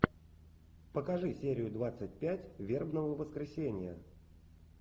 покажи серию двадцать пять вербного воскресенья